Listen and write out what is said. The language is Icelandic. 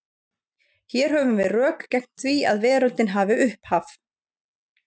Hér höfum við rök gegn því að veröldin hafi upphaf.